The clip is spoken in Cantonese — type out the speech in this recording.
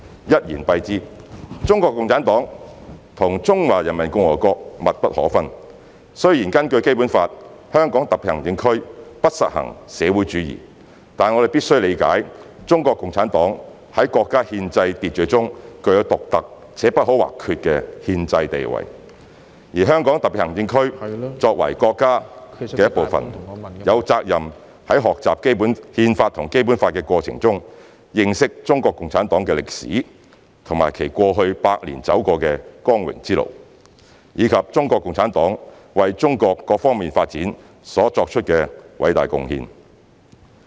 一言以蔽之，中國共產黨和中華人民共和國密不可分，雖然根據《基本法》，香港特別行政區不實行社會主義，但我們必須理解中國共產黨在國家憲制秩序中具有獨特且不可或缺的憲制地位，而香港特別行政區作為國家的一部分，有責任在學習《憲法》和《基本法》的過程中，認識中國共產黨的歷史和其過去百年走過的光榮之路，以及中國共產黨為中國各方面發展所作的偉大貢獻。